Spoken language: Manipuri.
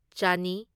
ꯆꯅꯤ